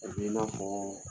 Kɔnni 'i ma bɔɔn